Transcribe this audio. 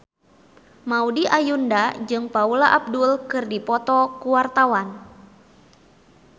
Maudy Ayunda jeung Paula Abdul keur dipoto ku wartawan